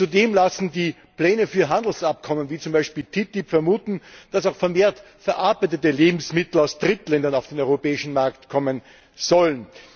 Und zudem lassen die Pläne für Handelsabkommen wie zum Beispiel TTIP vermuten, dass auch vermehrt verarbeitete Lebensmittel aus Drittländern auf den europäischen Markt kommen sollen.